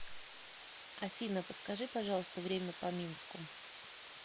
афина подскажи пожалуйста время по минску